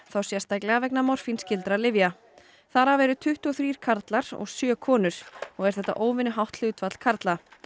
þá sérstaklega vegna lyfja þar af eru tuttugu og þrír karlar og sjö konur og er þetta óvenjuhátt hlutfall karla